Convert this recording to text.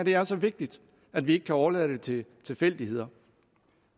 her er så vigtigt at vi ikke kan overlade det til tilfældigheder